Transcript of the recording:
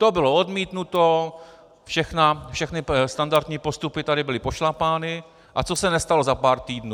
To bylo odmítnuto, všechny standardní postupy tady byly pošlapány, a co se nestalo za pár týdnů.